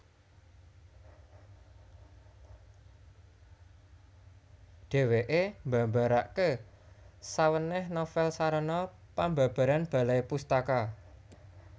Dhèwèké mbabaraké sawènèh novèl sarana pambabaran Balai Pustaka